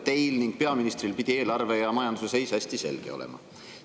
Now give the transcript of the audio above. Teil ning peaministril pidi eelarve ja majanduse seis hästi teada olema.